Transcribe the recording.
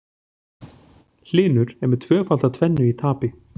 Hlynur með tvöfalda tvennu í tapi